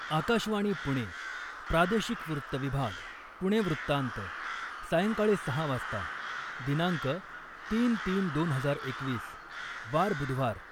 आकाशवाणी पुणे, प्रादेशिक वृत्तविभाग, पुणे वृत्तान्त, सायंकाळी सहा वाजता, दिनांक तीन, तीन, दोन हजार एकवीस, वार बुधवार